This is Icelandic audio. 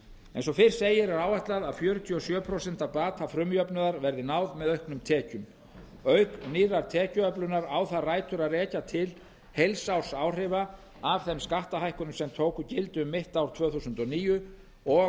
eins og fyrr segir er áætlað að fjörutíu og sjö prósent af bata frumjafnaðar verði náð með auknum tekjum auk nýrrar tekjuöflunar á það rætur að rekja til heilsársáhrifa af þeim skattahækkunum sem tóku gildi um mitt ár tvö þúsund og níu og